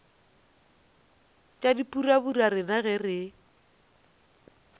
tša dipurabura rena ge re